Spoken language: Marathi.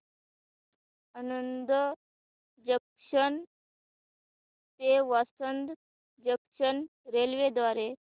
आणंद जंक्शन ते वासद जंक्शन रेल्वे द्वारे